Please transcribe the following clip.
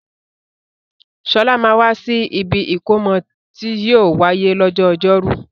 Sọlá máa wà sì ibi ìkómọ tí yìí ó wáyé lọ́jọ́ ọjọ́rú